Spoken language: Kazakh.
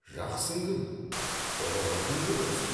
жақсың кім ұлылығың кім өзі